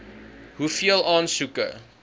hoeveel aansoeke